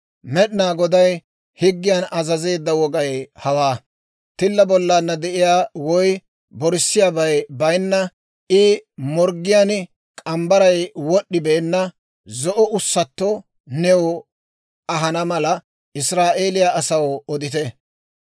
«Med'inaa Goday higgiyan azazeedda wogay hawaa: Tilla bollana de'iyaa woy borssiyaabay bayinna, I morggiyaan k'ambbaray wod'd'ibeenna zo'o ussatto new ahana mala, Israa'eeliyaa asaw odite.